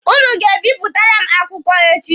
Ụnụ ga-ebipụtare m akwụkwọ echi.